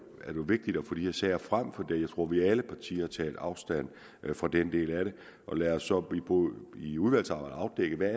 vigtigt at få de her sager frem for jeg tror at vi i alle partier tager afstand fra den del af det lad os så i udvalgsarbejdet afdække hvad